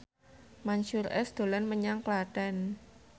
Mansyur S dolan menyang Klaten